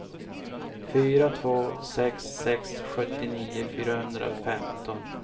fyra två sex sex sjuttionio fyrahundrafemton